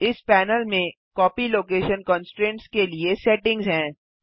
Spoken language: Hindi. इस पैनल में कॉपी लोकेशन कन्स्ट्रेन्ट्स के लिए सेटिंग्स हैं